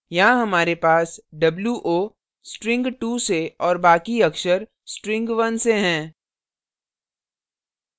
यहाँ हमारे पास wo string 2 से और बाकी अक्षर string 1 से हैं